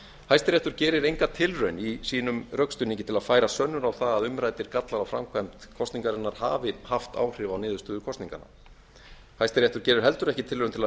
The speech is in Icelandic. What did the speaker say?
hæstiréttur gerir enga tilraun í sínum rökstuðningi til að færa sönnur á það að umræddir gallar á framkvæmd kosningarinnar hafi haft áhrif á niðurstöðu kosninganna hæstiréttur gerir heldur ekki tilraun til að